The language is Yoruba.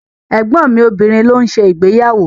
Ẹ̀gbọ́n mi obìnrin ló ń ṣe ìgbéyàwó.